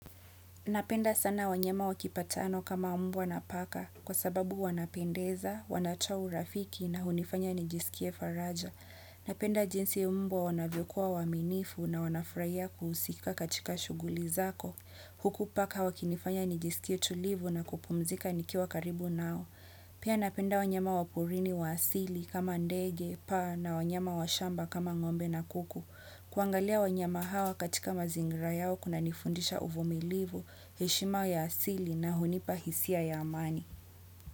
Napenda sana wanyama wakipatano kama umbwa na paka kwa sababu wanapendeza, wanachau urafiki na hunifanya nijiskie faraja. Napenda jinsi umbwa wanavyokuwa waaminifu na wanafurahia kuhusika katika shughuli zako. Huku paka wakinifanya nijisikie tulivu na kupumzika nikiwa karibu nao. Pia napenda wanyama waporini wa asili kama ndege, paa na wanyama wa shamba kama ngombe na kuku. Kuangalia wanyama hawa katika mazingira yao kuna nifundisha uvumilivu, heshima ya asili na hunipahisia ya amani.